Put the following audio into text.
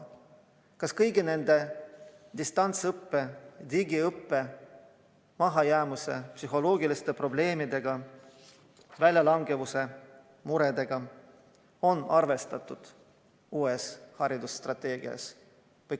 Kas haridusstrateegias arvestatakse kõigi nende distantsõppe, digiõppe, mahajäämuse ja psühholoogiliste probleemidega, samuti väljalangemise muredega?